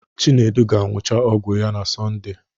Chinedu ga-agwụcha ọgwụ ya na Sọnde